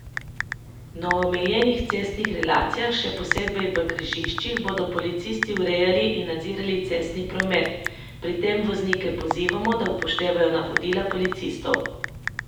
Na omenjenih cestnih relacijah, še posebej v križiščih, bomo policisti urejali in nadzirali cestni promet, pri tem voznike pozivamo, da upoštevajo navodila policistov.